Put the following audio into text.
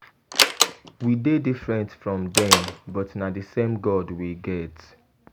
We dey different from dem but na the same God we get.